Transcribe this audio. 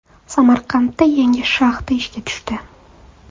Samarqandda yangi shaxta ishga tushdi.